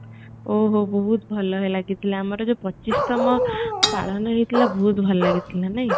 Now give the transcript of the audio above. ଓ ହୋ ବହୁତ ଭଲହେଲା ସେତେବେଳେ ଆମର ଯୋଉ ପଚିଶ ତମ ପାଳନ ହେଇଥିଲା ବହୁତ ଭଲ ଲାଗିଥିଲା ନାଇଁ